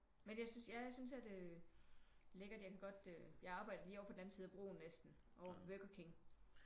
Men jeg synes ja jeg synes at øh lækkert jeg kan godt øh jeg arbejder lige over på den anden side af broen næsten over ved Burger King